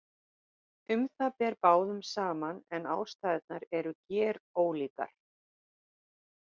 Um það ber báðum saman en ástæðurnar eru gerólíkar.